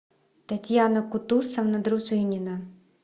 татьяна кутусовна дружинина